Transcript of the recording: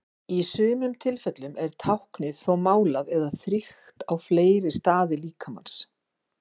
Í sumum tilfellum er táknið þó málað eða þrykkt á fleiri staði líkamans.